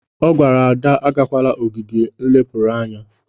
Ọ gwara Ada agakwala ogige nlepụrụ anya!